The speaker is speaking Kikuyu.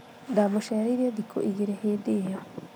ndamũcereire thikũ ĩgĩrĩ hĩndĩ ĩyo